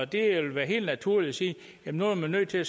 det vil være helt naturligt at sige at nu er man nødt til at